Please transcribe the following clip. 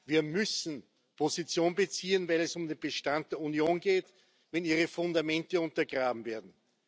Wir müssen Position beziehen, wenn es um den Bestand der Union geht, wenn ihre Fundamente untergraben werden.